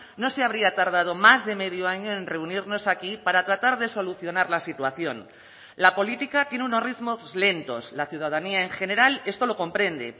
no se habría tardado más de medio año en reunirnos aquí para tratar de solucionar la situación la política tiene unos ritmos lentos la ciudadanía en general esto lo comprende